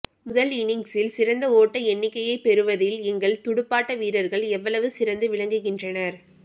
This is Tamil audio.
முதல் இனிங்சில் சிறந்த ஓட்ட எண்ணிக்கையை பெறுவதில் எங்கள் துடுப்பாட்ட வீரர்கள் எவ்வளவு சிறந்து விளங்குகின்றனர்